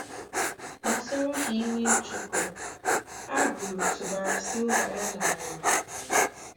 Kpàsùrù ha ìwè Ịchụpụ, Abreu tụ̀bàrà Silva-ya n’ala.